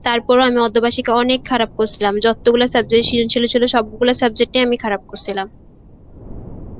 তারপরও আমি অর্ধ বার্ষিকীকে অনেক খারাপ করছিলাম যতগুলো subject ছিল ছিল সবগুলো subject আমি খারাপ করছিলাম